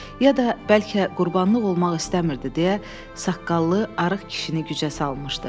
Ya da bəlkə qurbanlıq olmaq istəmirdi deyə saqqallı, arıq kişini gücə salmışdı.